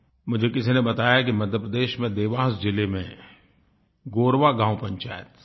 मुझे किसी ने बताया कि मध्य प्रदेश में देवास ज़िले में गोरवा गाँव पंचायत